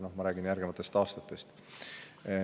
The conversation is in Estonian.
Ma räägin järgnevatest aastatest.